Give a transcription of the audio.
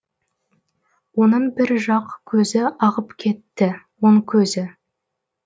оның бір жақ көзі ағып кетті оң көзі